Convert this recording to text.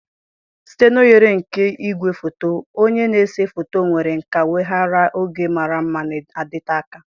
Site n' oghere nke igwefoto, onye na-ese foto nwere nkà weghaara oge mara mma na-adịte aka.